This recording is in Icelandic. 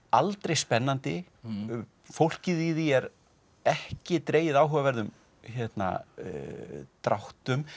aldrei spennandi fólkið í því er ekki dregið áhugaverðum dráttum